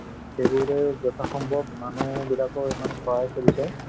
সেইবোৰে মানুহবিলাকে ইমান সহায় কৰিছে